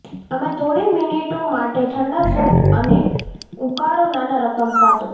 અમે થોડી મિનિટો માટે ઠંડા સૂપ અને ઉકાળો નાના રકમ પાતળું